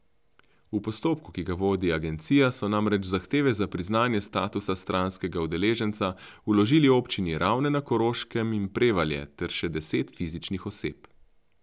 V postopku, ki ga vodi agencija, so namreč zahteve za priznanje statusa stranskega udeleženca vložili občini Ravne na Koroškem in Prevalje ter še deset fizičnih oseb.